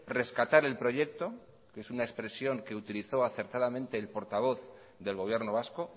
rescatar el proyecto que es una expresión que utilizo acertadamente el portavoz del gobierno vasco